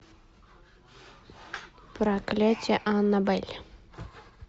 проклятие аннабель